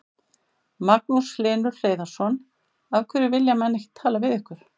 Magnús Hlynur Hreiðarsson: Af hverju vilja menn ekki tala við ykkur?